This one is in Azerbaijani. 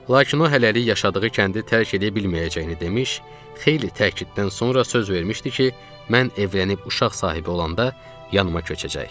Lakin o hələlik yaşadığı kəndi tərk edə bilməyəcəyini demiş, xeyli təkiddən sonra söz vermişdi ki, mən evlənib uşaq sahibi olanda yanıma köçəcək.